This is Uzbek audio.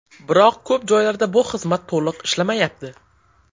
Biroq ko‘p joylarda bu xizmat to‘liq ishlamayapti.